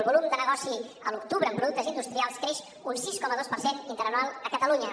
el volum de negoci a l’octubre en productes industrials creix un sis coma dos per cent interanual a catalunya